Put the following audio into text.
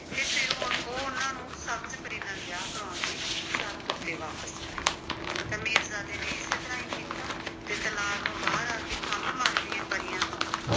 ਤੇ ਫਿਰ ਹੁਣ ਉਹ ਉਨ੍ਹਾਂ ਨੂੰ ਸਬਜ਼ ਪਰੀ ਨਾਲ ਵਿਆਹ ਕਰਾਉਣ ਦੀ ਸ਼ਰਤ ਉੱਤੇ ਵਾਪਿਸ ਕਰੇ ਤਾਂ ਮੀਰਜ਼ਾਦੇ ਨੇ ਇਸੇ ਤਰ੍ਹਾਂ ਹੀ ਕੀਤਾ ਤੇ ਤਲਾਅ ਤੋਂ ਬਾਹਰ ਆ ਕੇ ਖੰਭ ਮੰਗਦੀਆਂ ਪਰੀਆਂ ਤੋਂ